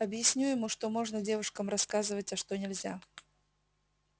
объясню ему что можно девушкам рассказывать а что нельзя